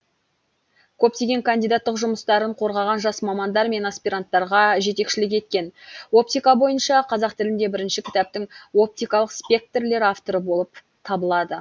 көптеген кандидаттық жұмыстарын қорғаған жас мамандар мен аспиранттарға жетекшілік еткен оптика бойынша қазақ тілінде бірінші кітаптың оптикалық спектрлер авторы болып табылады